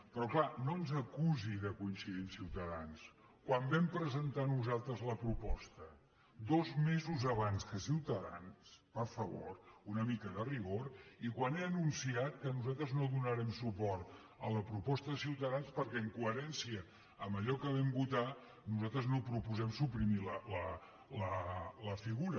però és clar no ens acusi de coincidir amb ciutadans quan vam presentar nosaltres la proposta dos mesos abans que ciutadans per favor una mica de rigor i quan he anunciat que nosaltres no donarem suport a la proposta de ciutadans perquè en coherència amb allò que vam votar nosaltres no proposem suprimir la figura